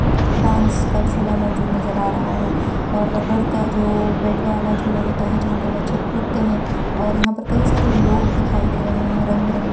dance का झोला मौजूद नजर आ रहा है और रबर का जो बेड वाला झोला होता है जहाँ पर बच्चे कूदते हैं और यहाँ पर कई सरे लोग दिखाई दे रहे हैं रंग बिरंगे --